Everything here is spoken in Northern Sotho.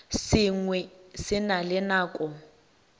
sengwe se na le nako